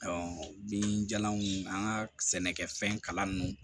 binjalanw an ga sɛnɛkɛfɛn kalanni